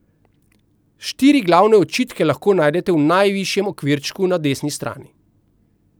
Štiri glavne očitke lahko najdete v najvišjem okvirčku na desni strani.